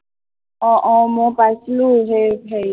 আহ আহ মই পাইছিলো সেই হেৰিত